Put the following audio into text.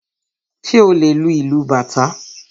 Ṣé o lè lu ìlú bàtá?